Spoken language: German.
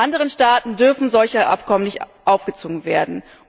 Anderen Staaten dürfen solche Abkommen nicht aufgezwungen werden.